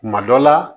Kuma dɔ la